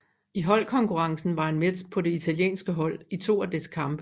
I holdkonkurrencen var han med på det italienske hold i to af dets kampe